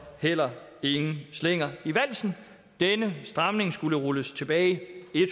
heller ikke nogen slinger i valsen denne stramning skulle rulles tilbage